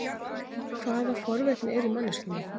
Hvaða forvitni er í manneskjunni?